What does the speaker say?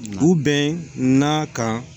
Du bɛɛ n'a kan